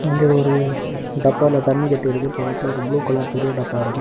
இங்கு ஒரு டப்பால தண்ணி கட்டி இருக்கு பக்கத்துல ஒரு ப்ளூ கலர் பெரிய டப்பா இருக்கு.